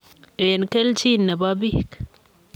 Eng keljin e bo bik.